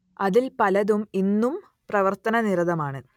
അതിൽ പലതും ഇന്നും പ്രവർത്തനനിരതമാണ്